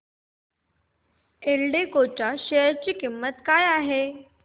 एल्डेको च्या शेअर ची किंमत काय आहे